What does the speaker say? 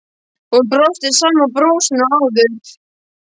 Hún brosti sama brosinu og áður.